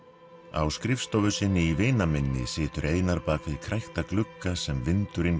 á skrifstofu sinni í vinaminni situr Einar bak við glugga sem vindurinn